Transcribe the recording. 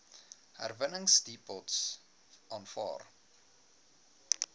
herwinningsdepots aanvaar